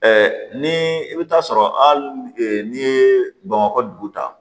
ni i bɛ taa sɔrɔ hali n'i ye bamakɔ dugu ta